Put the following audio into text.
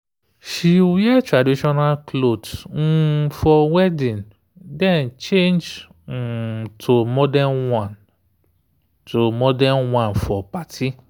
she wear traditional cloth um for wedding then change um to modern one to modern one for party.